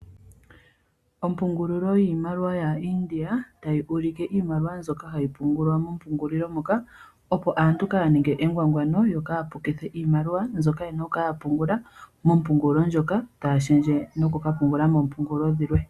Ompungulilo yiimaliwa yaIndia, tayi ulike iimaliwa mbyoka hayi pungulwa mongulilo moka, opo aantu kaaya ngwangwaneke nokupukitha iimaliwa mbyoka ye na okupungula mompungulilo ndjoka taya shendje noku ka pungula moompungulilo dhilwe.